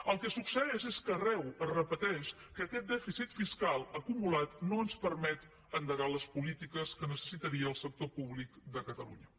el que succeeix és que arreu es repeteix que aquest dèficit fiscal acumulat no ens permet endegar les polítiques que necessitaria el sector públic de catalunya